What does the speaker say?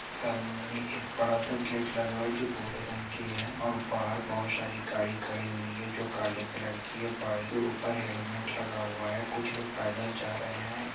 सामने एक बड़ा सा गेट लगा हुआ है जो भूरे रंग की है और बाहर बहुत सारी गाड़ी खड़ी हुई है जो काले कलर की है बाइक के ऊपर हेलमेट लगा हुआ है कुछ लोग पैदल जा रहे हैं ।